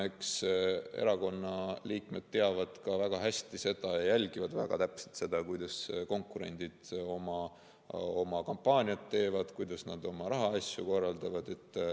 Eks erakonna liikmed teavad väga hästi ja jälgivad väga täpselt seda, kuidas konkurendid oma kampaaniat teevad ja kuidas nad oma rahaasju korraldavad.